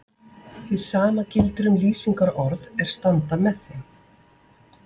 Hið sama gildir um lýsingarorð er standa með þeim.